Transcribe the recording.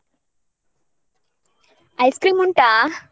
Ice cream ಉಂಟಾ?